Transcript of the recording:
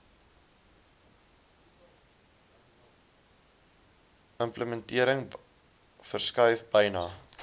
implementering verskuif byna